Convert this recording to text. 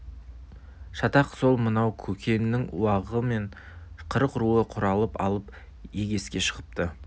шатақ сол мынау көкеннің уағы мен қырық руы құралып алып егеске шығыпты